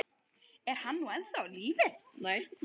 Er hann nú ennþá á lífi?